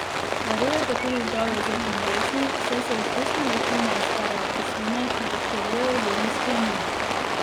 Varuje pa tudi zdravje zob in dlesni, saj se iz ustne votline izperejo kisline, ki poškodujejo zobno sklenino.